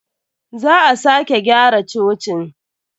Za a sake gyara cocin.